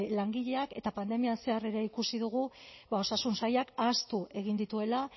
langileak eta pandemian zehar ere ikusi dugu osasun sailak ahaztu egin dituela